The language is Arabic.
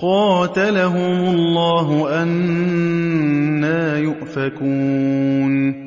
قَاتَلَهُمُ اللَّهُ ۚ أَنَّىٰ يُؤْفَكُونَ